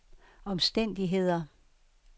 omstændigheder